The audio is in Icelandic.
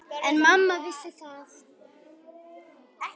En mamma vissi það.